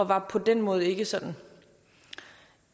var på den måde ikke sådan